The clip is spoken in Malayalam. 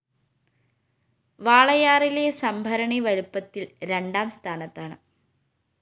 വാളയാറിലെ സംഭരണി വലുപ്പത്തില്‍ രണ്ടാം സ്ഥാനത്താണ്